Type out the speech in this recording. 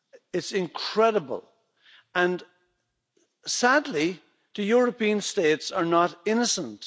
It's incredible, and sadly the European states are not innocent.